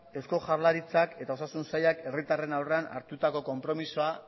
eusko jaurlaritzak eta osasun sailak herritarren aurrean hartutako konpromisoa